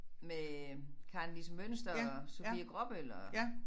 Med Karen-Lise Mynster og Sofie Gråbøl og